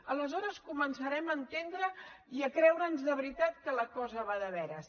aleshores començarem a entendre i a creure’ns de veritat que la cosa va de veres